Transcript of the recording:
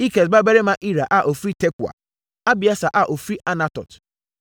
Ikes babarima Ira a ɔfiri Tekoa; Abieser a ɔfiri Anatot;